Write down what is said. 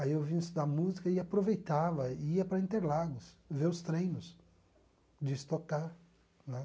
Aí eu vinha estudar música e aproveitava, ia para Interlagos, ver os treinos de stock car né.